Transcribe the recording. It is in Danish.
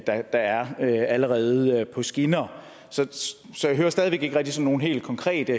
der allerede er på skinner så jeg hører stadig væk ikke rigtig sådan nogen helt konkrete